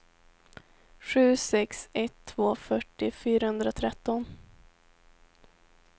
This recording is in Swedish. sju sex ett två fyrtio fyrahundratretton